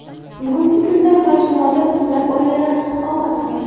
Bugungi kunda majmuada ko‘plab oilalar istiqomat qiladi.